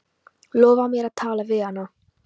Lofaðu mér að tala við hana.